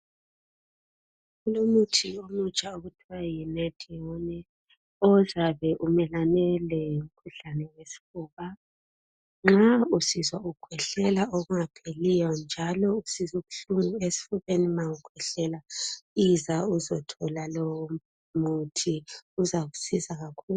Kulomuthi omutsha okuthiwa yi"NADIONE" ozabe umelane lomkhuhlane wesifuba nxa usizwa ukhwehlela okungapheliyo njalo usizwa ubuhlungu esifubeni ma ukhwehlela iza uzothola lowo muthi uzakusiza kakhulu.